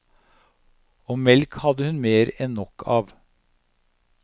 Og melk hadde hun mer enn nok av.